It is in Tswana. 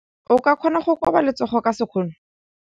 O ka kgona go koba letsogo ka sekgono.